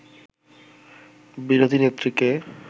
বিরোধী নেত্রীকে